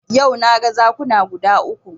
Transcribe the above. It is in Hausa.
Yau na ga zakuna guda uku